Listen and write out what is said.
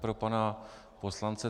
Pro pana poslance